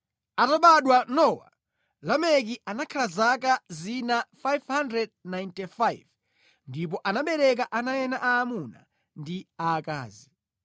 Atabadwa Nowa, Lameki anakhala zaka zina 595 ndipo anabereka ana ena aamuna ndi aakazi.